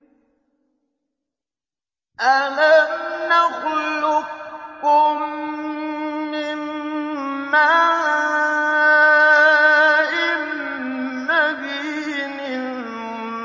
أَلَمْ نَخْلُقكُّم مِّن مَّاءٍ مَّهِينٍ